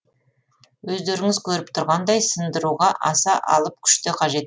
өздеріңіз көріп тұрғандай сындыруға аса алып күш те қажет